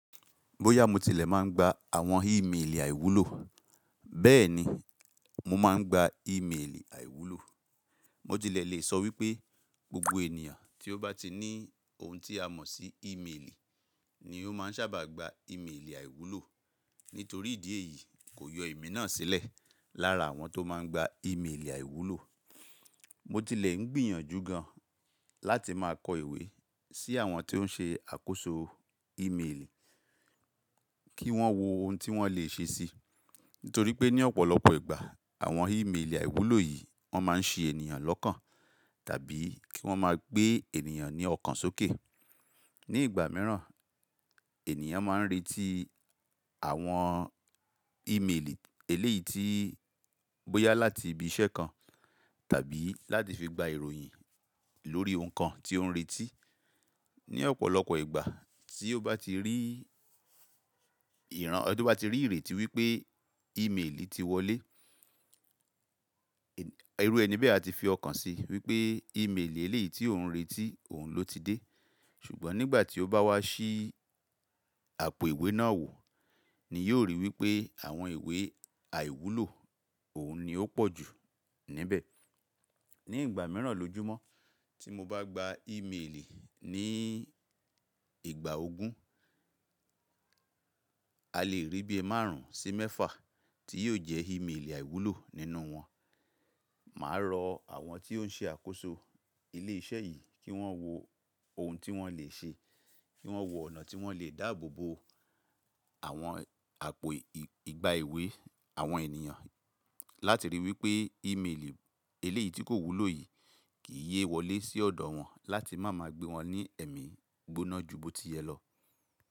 Bóyá mo tilẹ̀ máa ń gba àwọn ímeèlì àìwúlò, bẹ́ẹ̀ni, mo máa ń gba ímeèlì àìwúlò. Mo tilẹ̀ lè sọ wípé gbogbo ènìyàn tí ó bá ti ní ohun tí a mọ̀ sí ímeèlì ni ó máa ń sábà gba ímeèlì àìwúlò nítorí ìdí èyí kò yọ èmi náà sílẹ̀ lára àwọn tó máa ń gba ímeèlì àìwúlò. Mo tilẹ̀ ń gbìyànjú gan láti máa kọ ìwé sí àwọn tó ń ṣe àkóso ímeèlì kí wọ́n wo ohun tí wọ́n lè ṣe síi nítorí pé ní ọ̀pọ̀lọpọ̀ ìgbà àwọn ímeèlì àìwúlò yìí wọ́n máa ń ṣe ènìyàn lọ́kàn tàbí kí wọ́n máa gbé ènìyàn ní ọkàn sókè. Ní ìgbà mìíràn, ènìyàn máa ń retí àwọn ímeèlì eléyìí tí bóyá láti ibi iṣẹ́ kan tàbí láti fi gba ìròyìn lórí ohun kan tí ó ń retí. Ní ọ̀pọ̀lọpọ̀ ìgbà tí ó bá ti rí ìran tó bá ti rí ìrètí wípé ímeèlì ti wọlé, irú ẹni bẹ́ẹ̀ a ti fi ọkàn si wípé ímeèlì eléyìí tí ó ń retí òun ló ti dé. Ṣùgbọ́n nígbà tí ó bá wá sí àpò ìwé náà wò ni yóò ríi wípé àwọn ìwé àìwúlò òun ni ó pọ̀ jù níbẹ̀. Ní ìgbà mìíràn lójúmọ́ tí mo bá gba ímeèlì ní ìgbà ogún, a lè rí bí i márùn ún sí mẹ́fà tí yóò jẹ́ ímeèlì àìwúlò nínú wọn. Mà á rọ àwọn tí ó ń ṣe àkóso ilé iṣẹ́ yìí kí wọ́n wo ohun tí wọ́n lè ṣe, kí wọ́n wo ọ̀nà tí wọ́n lè dáàbò bo àwọn àpò ìgbà ìwé àwọn ènìyàn láti ríi wípé ímeèlì eléyìí tí kò wúlò yìí kì í yé wọlé sí ọ̀dọ̀ wọn láti má máa gbé wọn ní ẹ̀mí gbóná ju bó ti yẹ lọ.